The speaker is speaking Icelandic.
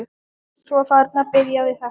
Svo þarna byrjaði þetta.